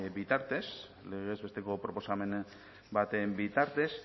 bitartez legez besteko proposamen baten bitartez